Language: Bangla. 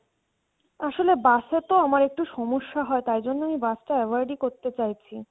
আসলে bus এ তো আমার একটু সমস্যা হয় তার জন্যে আমি bus তা avoid ই করতে চাইসি